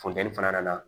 Funteni fana nana